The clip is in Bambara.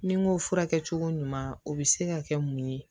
Ni n ko furakɛcogo ɲuman o bɛ se ka kɛ mun ye